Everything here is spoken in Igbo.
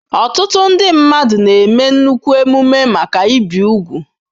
Ọtụtụ ndị mmadụ na-eme nnukwu emume maka ibi úgwù.